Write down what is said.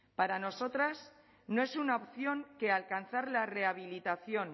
para nosotras no es una opción que alcanzar la rehabilitación